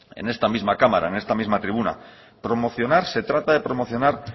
en esta misma cámara en esta misma tribuna promocionar se trata de promocionar